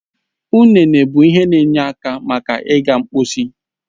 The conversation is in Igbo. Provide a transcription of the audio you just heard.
Ụnene bụ ihe he n'enye aka maka iga mposi